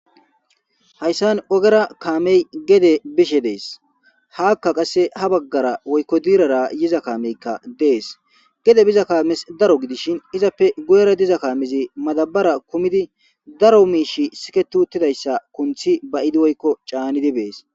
Haysan ogera kamey gede bishe des haka qase ha bagara woykon dirara hiza kame des gede biza kamas daro gidishin izappe guyera diza kames madabara kumidi daro mishiy sikiti uttidaysa kunthi ba'idi woyko c'anidi beses